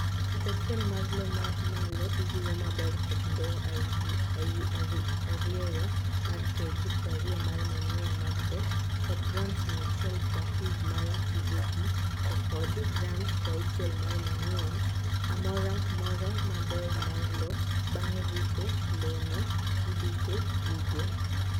Fut achiel mar loo mamalo iriwo maber kod ndowo arieyo mar KG prariyo mar manure mar dhok, kod grams mia chiel prabih mar DAP to kkod grams prauchiel mar manure amora mora maber mar loo. Bang ripo, lowo no iduke bugo.